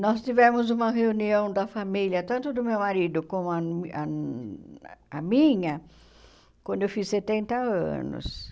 Nós tivemos uma reunião da família, tanto do meu marido como ah ah a minha, quando eu fiz setenta anos.